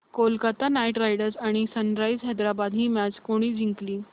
Kolkata Knight Riders आणि Sunrisers Hyderabad ही match कोणी जिंकली